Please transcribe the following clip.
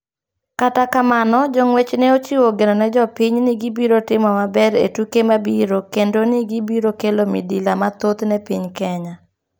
Kata kamano jonguech ne ochiwo geno ne jopiny ni gi biro timo maber e tuko mabiro kendo ni gi biro kelo midila mathoth ne piny kenya.